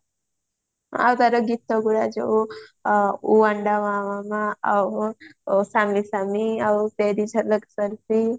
ଆଉ ତାର ଗୀତା ଗୁରା ଯୋଉ ଆଉ ଆଉ